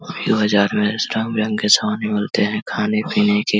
रंग-बिरंगे सामान भी मिलते हैं खाने-पीने के --